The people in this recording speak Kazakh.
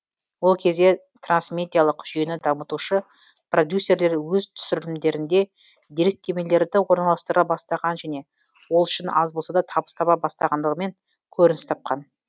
ол кезде трансмедиалық жүйені дамытушы продюсерлер өз түсірілімдерінде деректемелерді орналастыра бастаған және ол үшін аз болса да табыс таба бастағандығымен көрініс тапқан